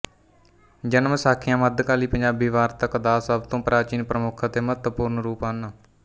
ਜਨਮ ਸਾਖੀਆਂ ਮੱਧਕਾਲੀ ਪੰਜਾਬੀ ਵਾਰਤਕ ਦਾ ਸਭ ਤੋਂ ਪ੍ਰਾਚੀਨ ਪ੍ਰਮੁੱਖ ਅਤੇ ਮਹੱਤਵਪੂਰਨ ਰੂਪ ਹਨ